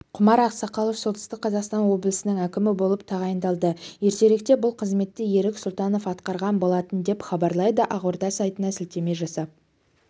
құмар ақсақалов солтүстік қазақстан облысының әкімі болып тағайындалды ертеректе бұл қызметті ерік сұлтанов атқарған болатын деп хабарлайды ақорда сайтына сілтеме жасап